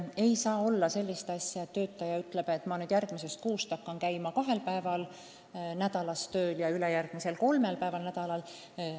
Ei saa olla nii, et töötaja ütleb, et ma järgmisest kuust hakkan tööl käima kahel päeval nädalas ja ülejärgmisest nädalast kolmel päeval.